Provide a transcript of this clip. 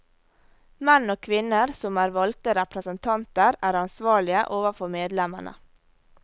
Menn og kvinner som er valgte representanter er ansvarlige overfor medlemmene.